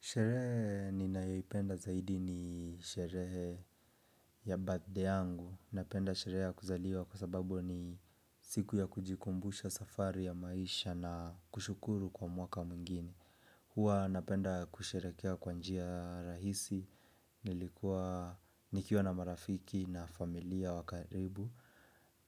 Sherehe ninayoipenda zaidi ni sherehe ya birthday yangu. Napenda sherehe ya kuzaliwa kwa sababu ni siku ya kujikumbusha safari ya maisha na kushukuru kwa mwaka mwingine. Hua napenda kusherekea kwa njia rahisi, nilikuwa nikiwa na marafiki na familia wa karibu,